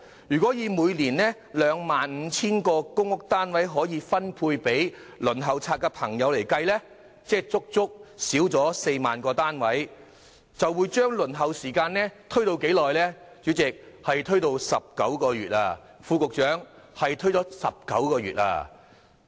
如果以每年 25,000 個公屋單位可分配予輪候冊的申請人計算，不足的公營單位數字達4萬個之多，而輪候時間也因此延長了19個月，副局長，請注意是延遲了19個月。